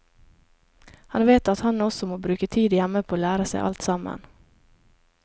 Han vet at han også må bruke tid hjemme på å lære seg alt sammen.